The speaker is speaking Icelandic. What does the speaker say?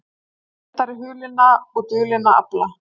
Verndari hulinna og dulinna afla